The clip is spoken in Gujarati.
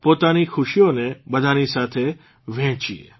પોતાની ખુશીઓને બધાની સાથે શેર કરીએ